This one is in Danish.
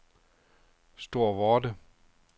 Storvorde